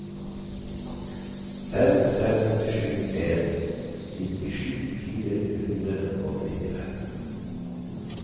fem fem sju en nittisju fire hundre og nittifem